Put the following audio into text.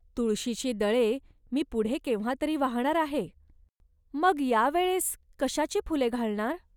तुळशीची दळे मी पुढे केव्हा तरी वाहणार आहे. ."मग या वेळेस कशाची फुले घालणार